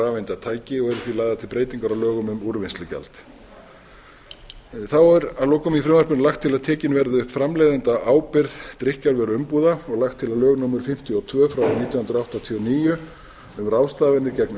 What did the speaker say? rafeindatæki og eru því lagðar til breytingar á lögum um úrvinnslugjald þá er að lokum í frumvarpinu lagt til að tekin verði upp framleiðendaábyrgð drykkjarvöruumbúða og lagt til að lög númer fimmtíu og tvö nítján hundruð áttatíu og níu um ráðstafanir gegn